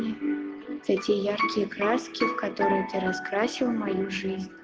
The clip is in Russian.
все те яркие краски в которые ты раскрасил мою жизнь